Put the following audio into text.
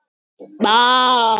En svona er víst lífið.